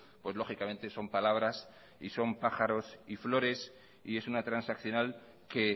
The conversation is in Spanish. pues lógicamente son palabras y son pájaros y flores y es una transaccional que